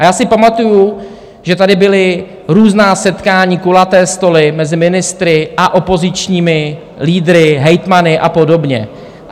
A já si pamatuju, že tady byla různá setkání, kulaté stoly mezi ministry a opozičními lídry, hejtmany a podobně.